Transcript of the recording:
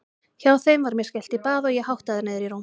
Hjá þeim var mér skellt í bað og ég háttaður niður í rúm.